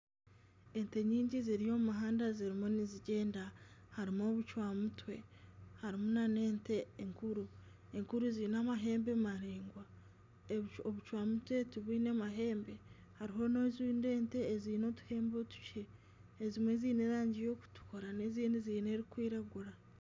Ente nyingi ziri omu muhanda zirimu nizigyenda harimu obucwamutwe harimu nana ente enkuru, enkuru ziine amahembe maraingwa obucwamutwe tibwine mahembe hariho n'endi ente eziine otuhembe otukye, ezimwe ziine erangi erikutukura n'ezindi ziine erikwiragura